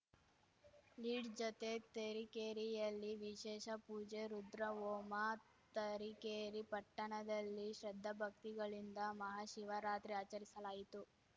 lead ಜತೆ ತರೀಕೆರೆಯಲ್ಲಿ ವಿಶೇಷ ಪೂಜೆ ರುದ್ರಹೋಮ ತರೀಕೆರೆ ಪಟ್ಟಣದಲ್ಲಿ ಶ್ರದ್ಧಾಭಕ್ತಿಗಳಿಂದ ಮಹಾಶಿವರಾತ್ರಿ ಆಚರಿಸಲಾಯಿತು